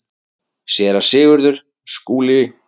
SÉRA SIGURÐUR: Skúli!